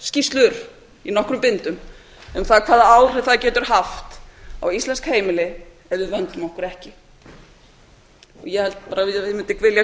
skýrslur í nokkrum bindum um það hvaða áhrif það getur haft á íslensk heimili ef við vöndum okkur ekki ég held bara að ég mundi vilja